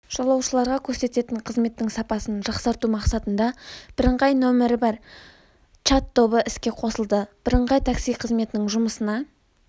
жолаушыларға көрсететін қызметтің сапасын жақсарту мақсатында бірыңғай нөмірі бар чат-тобы іске қосылды бірыңғай такси қызметінің жұмысына